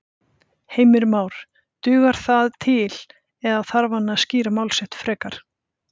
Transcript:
Heimir Már: Dugar það til eða þarf hann að skýra mál sín frekar?